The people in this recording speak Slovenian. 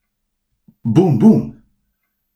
Bum, bum.